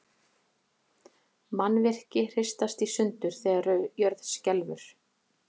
Mannvirki hristast í sundur þegar jörð skelfur.